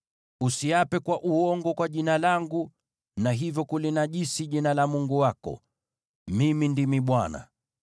“ ‘Usiape kwa uongo kwa Jina langu, na hivyo kulinajisi jina la Mungu wako. Mimi ndimi Bwana .